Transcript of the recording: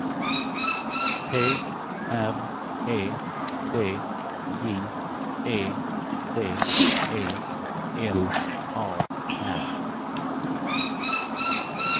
T R E D J E D E L A R